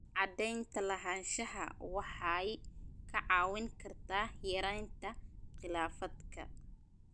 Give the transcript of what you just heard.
Cadaynta lahaanshaha waxay kaa caawin kartaa yaraynta khilaafaadka.